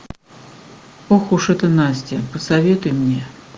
ох уж эта настя посоветуй мне